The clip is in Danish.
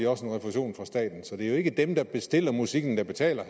også en refusion fra staten så det er jo ikke dem der bestiller musikken der betaler